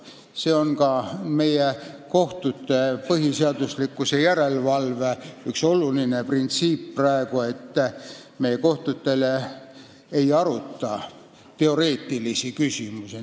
See on praegu ka meie kohtute põhiseaduslikkuse järelevalve üks oluline printsiip, et me kohtutes ei aruta teoreetilisi küsimusi.